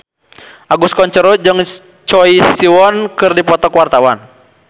Agus Kuncoro jeung Choi Siwon keur dipoto ku wartawan